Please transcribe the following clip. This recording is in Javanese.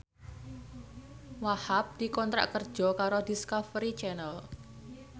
Wahhab dikontrak kerja karo Discovery Channel